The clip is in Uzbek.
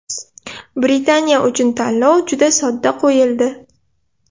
Britaniya uchun tanlov juda sodda qo‘yildi.